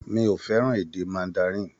Mi ò fẹ́ràn èdè Mandarin.